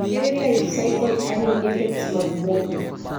Ere life-cycle earning effects mag bwok ni?